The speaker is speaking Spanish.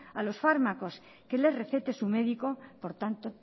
a los fármacos que le recete su médico por tanto